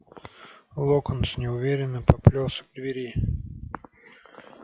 локонс неуверенно поплёлся к двери